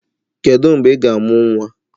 Kedu mgbe ị ga-amụ nwa?